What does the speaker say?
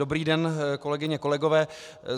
Dobrý den, kolegyně, kolegové.